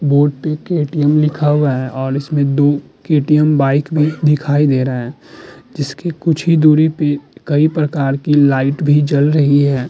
Board पे KTM लिखा हुआ है और उसमें दो केटीएम बाइक भी दिखाई दे रहा है। जिसके कुछ दूरी पे कई प्रकार की लाइट जल रही है।